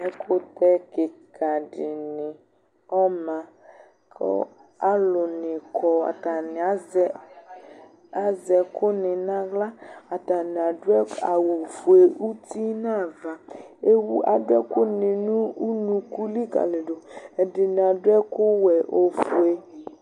Ɛƙʊtɛ kika dini ɔma Kʊ alʊnɩ kɔ Atanɩ azɛ ɛkʊni nʊ aɣla Atanɩ adʊ awʊfoe uti nʊ ava Adʊ ɛkʊni nʊ unuku likalidu Ɛdɩnɩ adʊ ɛkʊwɛ, efoe